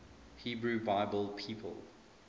hebrew bible people